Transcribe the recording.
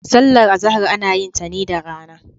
Sallar Azahar ana yin ta ne da rana.